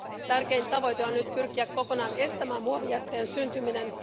Tärkein tavoite on nyt pyrkiä kokonaan estämään muovijätteen syntyminen.